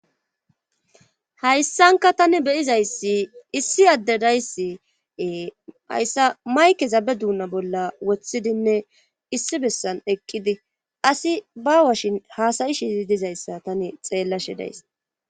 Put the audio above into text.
hayssanka tani beyizayssi issi adde dayssi hayssa maykeza be duunna bolla woththidinne issi bessan eqqidi asi ba washin haasayi shizi dizayssa tani xeellashi days